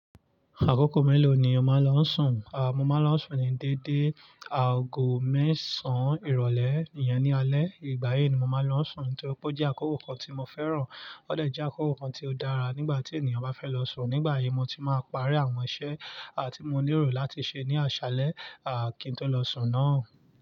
Àkókò mélòó ni o máa ń lọ sùn? Mo máa ń lọ sùn ní dédé, aago mẹ́sàn ìrólé iyẹn ní alẹ́. Ìgbàyi ni mo máa ń lọ sùn n tó pe ojẹ́ àkókò kan tí mo fẹ́ràn. Ó dẹ̀ jẹ́ àkókò kan tí ó dára nígbà tí ènìyàn bá fẹ́ lọ sùn. Nígbà yìí mo ti máa parí àwọn iṣẹ́ tí mo nílò láti ṣe ní aṣálẹ́ kí n tó lọ sùn náà.